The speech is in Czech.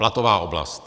Platová oblast.